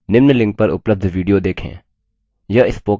निम्न link पर उपलब्ध video देखें